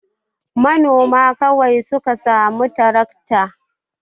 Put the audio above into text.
Manoma kawai su ka samu tarakta.